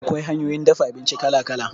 Akwai hanyoyin dafa abinci kala-kala.